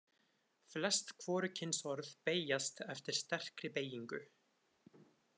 Flest hvorugkynsorð beygjast eftir sterkri beygingu.